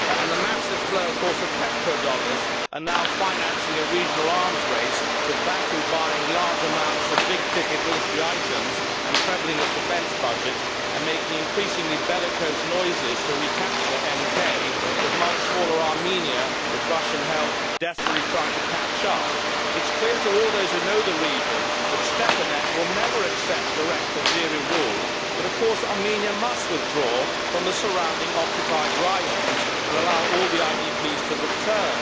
The massive flow of petrodollars is now financing a regional arms race, with Baku buying large amounts of big ticket military items, trebling its defence budget and making increasingly bellicose noises about recapturing NK, and with the much smaller Armenia, with Russian help, desperately trying to catch up. It is clear to all of those who know the region that Stepanakert will never accept direct Azeri rule, but of course Armenia must withdraw from the surrounding occupied raions and allow all the IDPs to return.